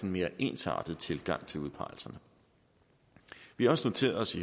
mere ensartet tilgang til udpegelserne vi har også noteret os